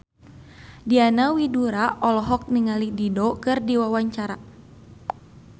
Diana Widoera olohok ningali Dido keur diwawancara